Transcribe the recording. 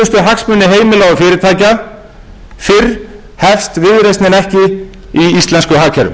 hagsmuni heimila og fyrirtækja fyrr hefst viðreisnin ekki í íslensku hagkerfi